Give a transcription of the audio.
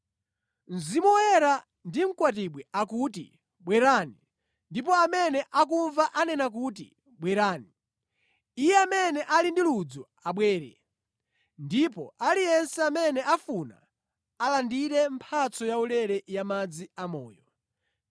Mzimu Woyera ndi mkwatibwi akuti, “Bwerani!” Ndipo amene akumva anena kuti Bwerani! Iye amene ali ndi ludzu abwere, ndipo aliyense amene afuna alandire mphatso yaulere ya madzi amoyo.